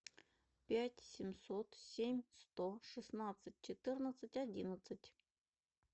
пять семьсот семь сто шестнадцать четырнадцать одиннадцать